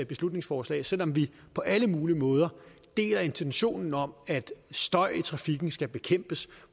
beslutningsforslag selv om vi på alle mulige måder deler intentionen om at støj i trafikken skal bekæmpes